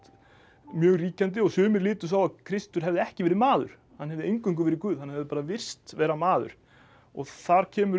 mjög ríkjandi sumir litu svo á Kristur hefði ekki verið maður hann hefði eingöngu verið guð hann hefði bara virst vera maður og þar kemur upp